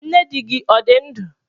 Nne dị gị ọ dị ndụ?